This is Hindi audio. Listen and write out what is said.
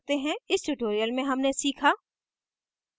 इस tutorial में हमने सीखा